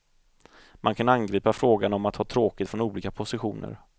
Man kan angripa frågan om att ha tråkigt från olika positioner.